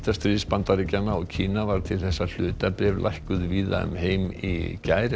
viðskiptastríðs Bandaríkjanna og Kína varð til þess að hlutabréf lækkuðu víða um heim í gær